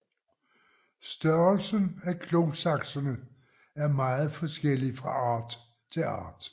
Størrelsen af klosaksene er meget forskellig fra art til art